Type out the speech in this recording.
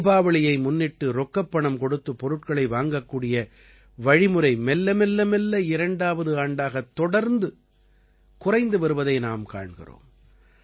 தீபாவளியை முன்னிட்டு ரொக்கப்பணம் கொடுத்துப் பொருட்களை வாங்கக்கூடிய வழிமுறை மெல்லமெல்லமெல்ல இரண்டாவது ஆண்டாகத் தொடர்ந்து குறைந்து வருவதை நாம் காண்கிறோம்